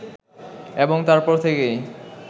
এবং তার পর থেকেই